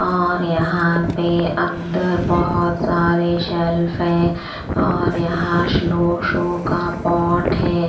और यहाँ पे अंदर बहुत सारे शेल्फ है और यहाँ स्लो शो का पॉट है।